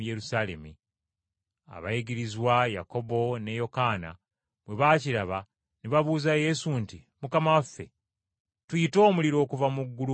Abayigirizwa Yakobo ne Yokaana bwe baakiraba ne babuuza Yesu nti, “Mukama waffe, tuyite omuliro okuva mu ggulu gubazikirize?”